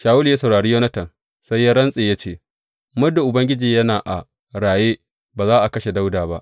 Shawulu ya saurari Yonatan sai ya rantse ya ce, Muddin Ubangiji yana a raye, ba za a kashe Dawuda ba.